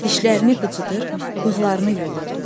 Dişlərini qıcıdır, bığlarını yolurdu.